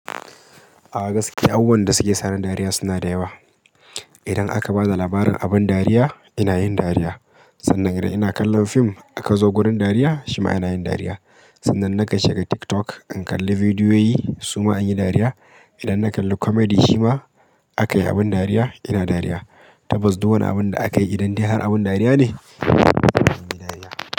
A gaskiya, abubuwan da suke sa ni dariya suna da ƴewa. Idan aka ba da labarin abun dariya, ina yin dariya. Sannan idan ina kallon fim aka zo gurin dariya, shi ma ina yin dariya. Sannan na ka shiga TikTok in kalli vidiyoyi, su ma in yi dariya. Idan na kalli comedy shi ma aka yi abun dariya, ina dariya. Tabbas, duk woni abun da akayi idan dai har abun dariya ne,